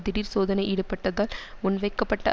திடீர்சோதனையிடுப்பட்டதால் முன்வைக்கப்பட்ட